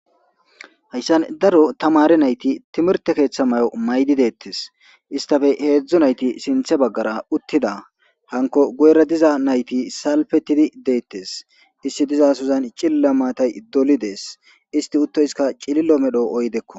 Hayssan daro tamare nayti timirte keeththa may7o maydi deettes istafe heedzdzu nayti sinthe baggara uttida hanko goere diza nayti salpettidi deettes issi diza suzan cilla maatay doli dees isti uttoyska cililo medho oydekko.